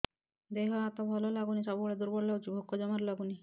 ଦେହ ହାତ ଭଲ ଲାଗୁନି ସବୁବେଳେ ଦୁର୍ବଳ ଲାଗୁଛି ଭୋକ ଜମାରୁ ଲାଗୁନି